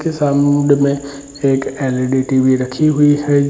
की में एक एल.ई.डी. टी.वी. रखी हुई है।